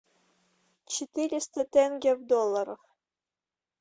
четыреста тенге в долларах